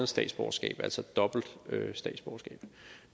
statsborgerskab altså et dobbelt statsborgerskab